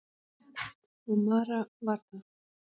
Og Mara var það.